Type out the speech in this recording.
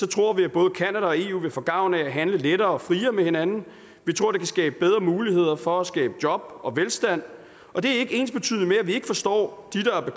tror vi at både canada og eu vil få gavn af at handle lettere og friere med hinanden vi tror det kan skabe bedre muligheder for at skabe job og velstand og det er ikke ensbetydende med at vi ikke forstår